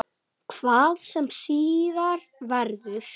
Hvað sem síðar verður.